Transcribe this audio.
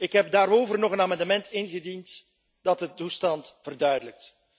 Ik heb daarover nog een amendement ingediend dat de toestand verduidelijkt.